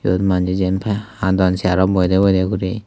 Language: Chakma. iyot manne jin pai hadon chair rot boide boide guri.